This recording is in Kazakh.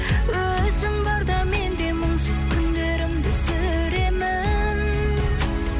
өзің барда мен де мұңсыз күндерімді сүремін